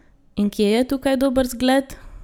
In kje je tukaj dober zgled?